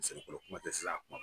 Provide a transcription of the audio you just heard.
kuma tɛ sisan